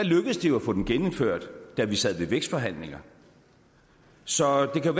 lykkedes det jo at få den genindført da vi sad ved vækstforhandlinger så det kan